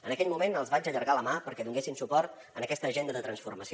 en aquell moment els vaig allargar la mà perquè donessin suport a aquesta agenda de transformació